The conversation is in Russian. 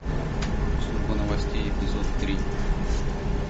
служба новостей эпизод три